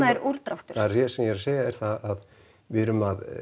er úrdráttur það sem ég er að segja er það að við erum að